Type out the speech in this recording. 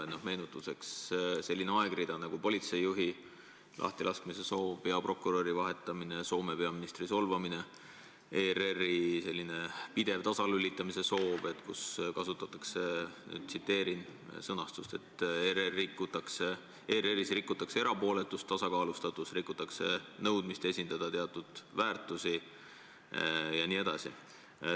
Meenutuseks selline aegrida: politseijuhi lahtilaskmise soov, peaprokuröri vahetamine, Soome peaministri solvamine, ERR-i tasalülitamise pidev soov, kusjuures on kasutatud – tsiteerin – sellist sõnastust, et "ERR-is rikutakse erapooletust, tasakaalustatust, rikutakse nõudmist esindada teatud väärtusi" jne.